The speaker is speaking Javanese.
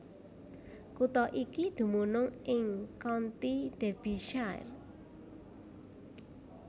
Kutha iki dumunung ing county Derbyshire